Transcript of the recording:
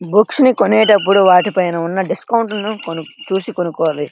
Books కొనేటప్పుడు వాటి పైన ఉన్న డిస్కౌంట్ లను చూసికొనుకోవాలి.